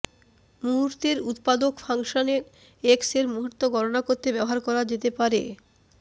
মুহূর্তের উত্পাদক function X এর মুহূর্ত গণনা করতে ব্যবহার করা যেতে পারে